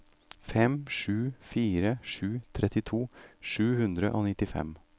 fem sju fire sju trettito sju hundre og nittifem